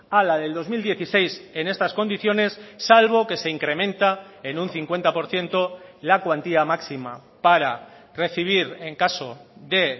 a la del dos mil dieciséis en estas condiciones salvo que se incrementa en un cincuenta por ciento la cuantía máxima para recibir en caso de